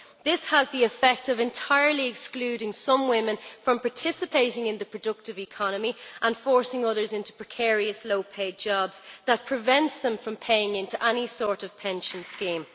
This has the effect of entirely excluding some women from participating in the productive economy and forcing others into precarious low paid jobs that prevent them from paying into any sort of pension scheme.